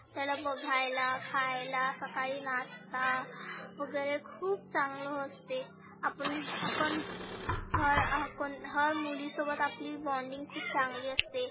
त्याला बघायला खायला सकाळी nasta वगैरे खुप चांगलं असते. आपण आपण हर हर मुली सोबत आपली bonding खुप चांगली असते.